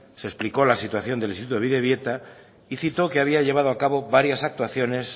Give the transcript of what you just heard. se explicó la situación del instituto bidebieta y cito que había llevado a cabo varias actuaciones